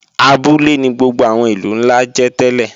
Abúlé ni gbogbo àwọn ìlú ńlá jẹ́ tẹ́lẹ̀